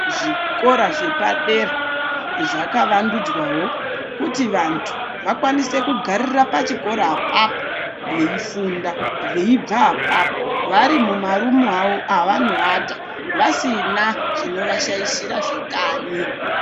Zvikora zvepadera zvakavandudzwao kuti vanthu vakwanise kugarira pachikora apapo veifunda veibva apapo vari mumarumu avo avanoata vasina chinovashaishira zvekanyi.